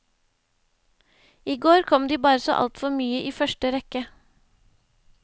I går kom de bare så alt for mye i første rekke.